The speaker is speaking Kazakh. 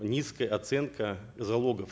низкая оценка залогов